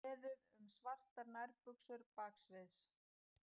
Beðið um svartar nærbuxur baksviðs